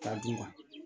Ka d'u ma